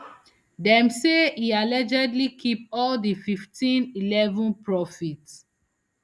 dem say e allegedly keep all di fifteenm eleven m profit